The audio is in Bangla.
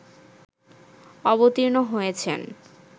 অবতীর্ণ হয়েছেন